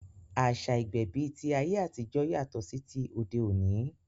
Àṣá ìgbẹ̀bí ti ayé àtijọ́ yàtọ̀ sí ti òde òní